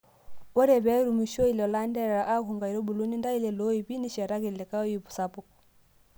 Ore pee erumishoyu lelo anterera aku nkaitubulu, nintayu ilo oip nishiteki likae oip sapuk.